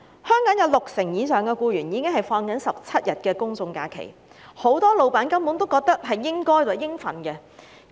香港有六成以上僱員享有17天公眾假期，很多老闆根本視之為理所當然。